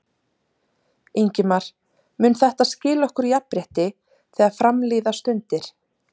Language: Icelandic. Ingimar: Mun þetta skila okkur jafnrétti þegar fram líða stundir?